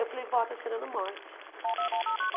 Eu falei, vó, está cheirando morte.